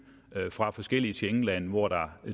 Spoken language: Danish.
fra forskellige schengenlande hvor der